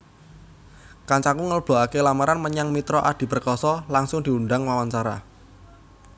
Kancaku nglebokake lamaran menyang Mitra Adi Perkasa langsung diundang wawancara